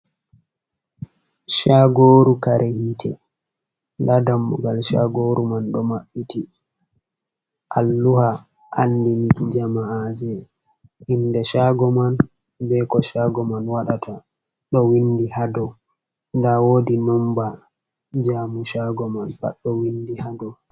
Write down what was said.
Shagoru kare hite, nda dammugal shagoru man ɗo maɓɓiti alluha andinki jama’a je, inde shago man, be ko shago man waɗata ɗo windi ha dou nda wodi nomba jaumo shago man pat ɗo windi ha dou.